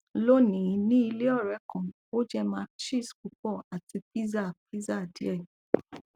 lónìí ní ilé ọrẹ kan ó jẹ mac cheese pupo àti pizza pizza die